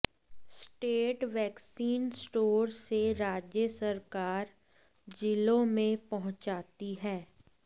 state vaccine store से राज्य सरकार जिलों में पहुंचाती है